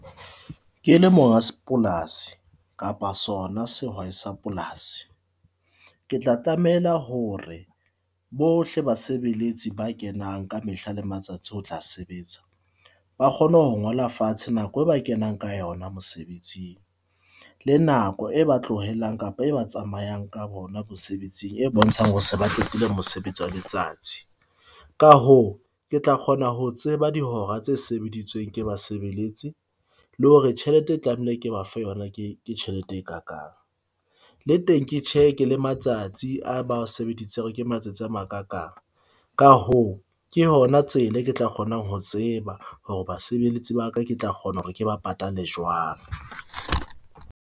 Ke le monga sepolasi kapa sona sehwai sa polasi. Ke tla tlamela hore bohle basebeletsi ba kenang ka mehla le matsatsi ho tla sebetsa, ba kgone ho ngola fatshe nako e ba kenang ka yona mosebetsing le nako e ba tlohelang kapa e ba tsamayang ka bona mosebetsing e bontshang hore se ba qetile mosebetsi wa letsatsi. Ka hoo, ke tla kgona ho tseba dihora tse sebeditsweng ke basebeletsi le hore tjhelete e tlamehile ke ba fe yona, ke tjhelete e kakang. Le teng ke check-e le matsatsi a ba sebeditseng hore ke matsatsi a ma kakang. Ka hoo, ke hona tsela, ke tla kgona ho tseba hore basebeletsi ba ka, ke tla kgona hore ke ba patale jwang.